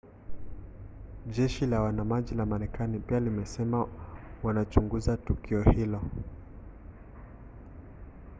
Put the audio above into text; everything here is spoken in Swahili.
jeshi la wanamaji la marekani pia limesema wanachunguza tukio hilo